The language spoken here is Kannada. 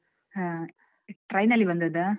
ಹಾ, train ನಲ್ಲಿ ಬಂದದ್ದಾ?